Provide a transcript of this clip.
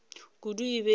kudu e be e le